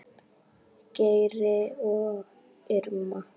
Geir og Irma.